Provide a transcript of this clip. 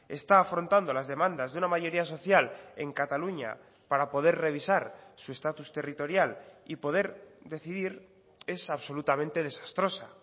está afrontando las demandas de una mayoría social en cataluña para poder revisar su estatus territorial y poder decidir es absolutamente desastrosa